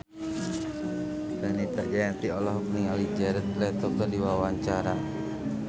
Fenita Jayanti olohok ningali Jared Leto keur diwawancara